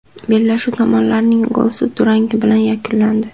Bellashuv tomonlarning golsiz durangi bilan yakunlandi.